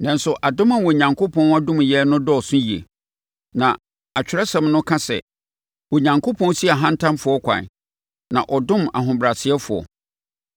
Nanso, adom a Onyankopɔn dom yɛn no dɔɔso yie. Na Atwerɛsɛm no ka sɛ, “Onyankopɔn si ahantanfoɔ kwan, na ɔdom ahobrɛasefoɔ.”